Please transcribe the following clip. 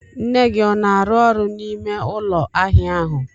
Nne gị ọ na arụ ọrụ n'ime ụlọ ahịa ahụ?